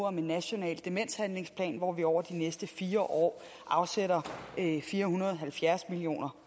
om en national demenshandlingsplan hvor vi over de næste fire år afsætter fire hundrede og halvfjerds million